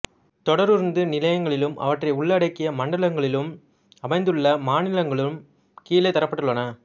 தொடருந்து நிலையங்களும் அவற்றை உள்ளடக்கிய மண்டலங்களும் அமைந்துள்ள மாநிலங்களும் கீழே தரப்பட்டுள்ளன